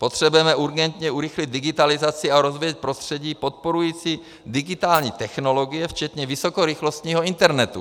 Potřebujeme urgentně urychlit digitalizaci a rozvíjet prostředí podporující digitální technologie včetně vysokorychlostního internetu.